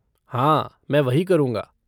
हाँ, मैं वही करूँगा।